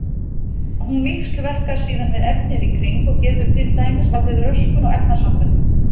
Hún víxlverkar síðan við efnið í kring og getur til dæmis valdið röskun á efnasamböndum.